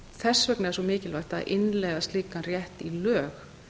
þess vegna er svo mikilvægt að innleiða slíkan rétt lög